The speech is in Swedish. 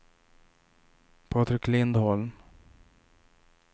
Patrik Lindholm